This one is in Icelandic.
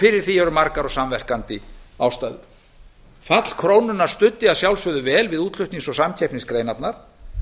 fyrir því eru margar og samverkandi ástæður fall krónunnar studdi að sjálfsögðu vel við útflutnings og samkeppnisgreinarnar